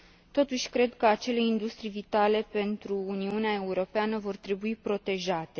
Totuși cred că acele industrii vitale pentru Uniunea Europeană vor trebui protejate.